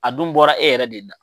A dun bɔra e yɛrɛ de da.